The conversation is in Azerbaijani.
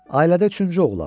Ailədə üçüncü oğlan.